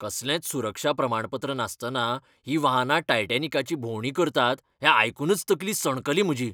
कसलेंच सुरक्षा प्रमाणपत्र नासतना हीं वाहनां टायटॅनिकाची भोंवडी करतात हें आयकूनच तकली सणकली म्हजी.